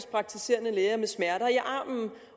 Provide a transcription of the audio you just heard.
praktiserende læger med smerter i armen